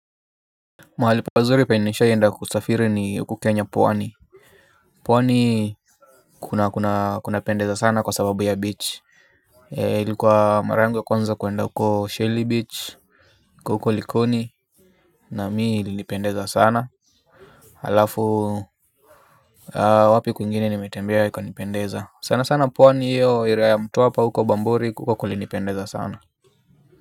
Mahali pazuri penye nishaienda kusafiri ni huku kenya pwani Pwani. Kuna kunapendeza sana kwa sababu ya beach likuwa mara yangu ya kwanza kuenda huko shelly beach iko huko likoni. Na mimi ilinipendeza sana. Halafu wapi kwingine nimetembea ikanipendeza sana sana pwani iyo area ya mtwapa huko bamburi huko kulinipendeza sana.